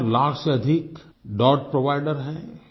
चार लाख से अधिक डॉट प्रोवाइडर हैं